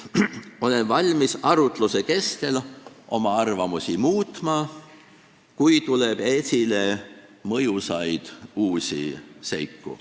Olen valmis arutluse kestel oma arvamusi muutma, kui tuleb esile mõjusaid uusi seiku.